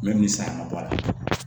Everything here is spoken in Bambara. N bɛ min san ka bɔ a la